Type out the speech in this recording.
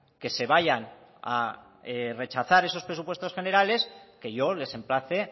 que se vayan a rechazar esos presupuestos generales que yo les emplace